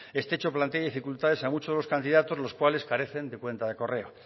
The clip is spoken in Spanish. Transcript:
este hecho plantea dificultades a muchos candidatos los cuales carecen de cuenta de correo